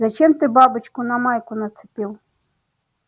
зачем ты бабочку на майку нацепил